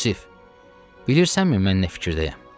Yusif, bilirsənmi mən nə fikirdəyəm?